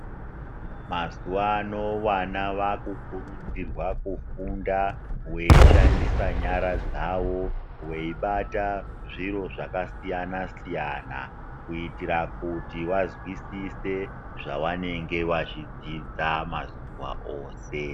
Mazuva ano vana vakukurudzirwa kufunda veishandisa nyara dzavo, veibata zviro zvakasiyana-siyana. Kuitira kuti vazwisise zvavanenge vachidzidza mazuva ose.